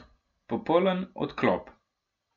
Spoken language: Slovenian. Popoln odklop.